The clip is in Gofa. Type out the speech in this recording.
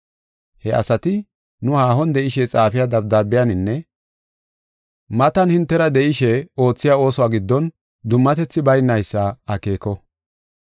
He asati nu haahon de7ishe xaafiya dabdaabiyaninne matan hintera de7ishe oothiya oosuwa giddon dummatethi baynaysa akeeko.